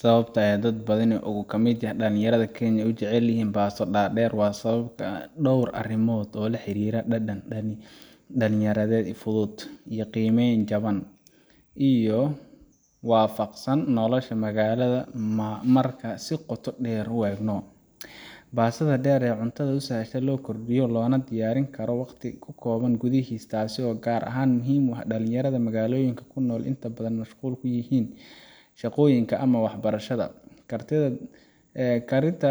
Sawabta ay dad badan oo kamid ah dalinyarada oo dalka kenya ayunecelyixiin pasto dader wa sawab an door arimod oo laharira dadan, dalinyaro fudud iyo giimen jawaan iyo wafaqsan nokosha magalada marka si qoota deer uegno, pastada deer ee cuntada usahasho sidha lokordiyo lonadiyarin karo wagti kukobaan qudihiis taasi oo gaar ahan muxiim u ah dalinyarada magaloyinka kunol intoda badan ay mushquul kuyixiin, shagoyinka ama wax barashada, kariinta